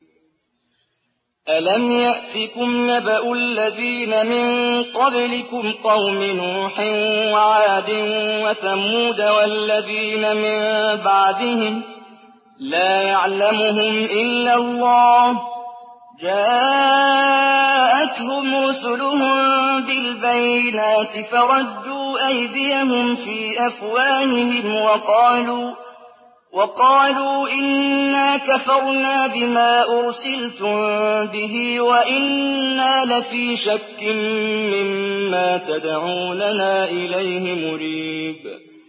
أَلَمْ يَأْتِكُمْ نَبَأُ الَّذِينَ مِن قَبْلِكُمْ قَوْمِ نُوحٍ وَعَادٍ وَثَمُودَ ۛ وَالَّذِينَ مِن بَعْدِهِمْ ۛ لَا يَعْلَمُهُمْ إِلَّا اللَّهُ ۚ جَاءَتْهُمْ رُسُلُهُم بِالْبَيِّنَاتِ فَرَدُّوا أَيْدِيَهُمْ فِي أَفْوَاهِهِمْ وَقَالُوا إِنَّا كَفَرْنَا بِمَا أُرْسِلْتُم بِهِ وَإِنَّا لَفِي شَكٍّ مِّمَّا تَدْعُونَنَا إِلَيْهِ مُرِيبٍ